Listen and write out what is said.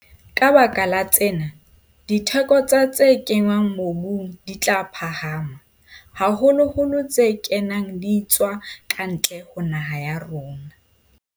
Ka baka la tsena, ditheko tsa tse kenngwang mobung di tla phahama, haholoholo tse kenang di etswa ka ntle ho naha ya rona.